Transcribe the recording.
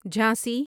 Jhansi